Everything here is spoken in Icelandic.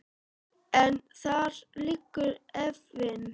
En þar liggur efinn.